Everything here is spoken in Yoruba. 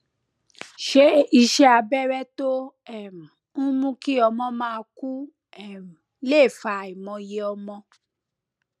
ṣé iṣé abẹré tó um ń mú kí ọmọ máa kú um lè fa àìmọye ọmọ